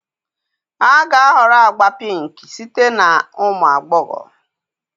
A ga-ahọrọ agba pink site na ụmụ agbọghọ